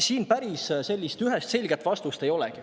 Siin päris ühest selget vastust ei olegi.